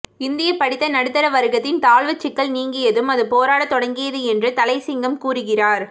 இந்திய படித்த நடுத்தர வர்க்கத்தின் தாழ்வுச் சிக்கல் நீங்கியதும் அது போராடத் தொடங்கியது என்று தளையசிங்கம் கூறுகிறார்